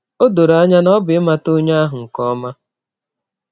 Ọ dọrọ anya na ọ bụ ịmata ọnye ahụ nke ọma.